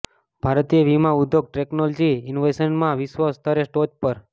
ભારતીય વીમા ઉદ્યોગ ટેક્નોલોજી ઇનોવેશન્સમાં વિશ્વ સ્તરે ટોચ પર